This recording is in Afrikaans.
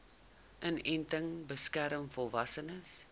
inenting beskerm volwassenes